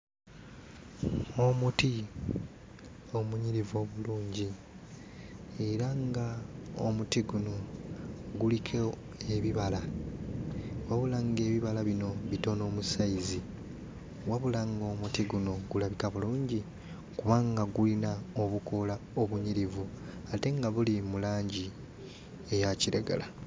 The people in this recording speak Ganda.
Omuti omunyirivu obulungi era ng'omuti guno guliko ebibala, wabula ng'ebibala bino bitono mu sayizi; wabula ng'omuti guno gulabika bulungi kubanga guyina obukoola obunyirivu ate nga buli mu langi eya kiragala.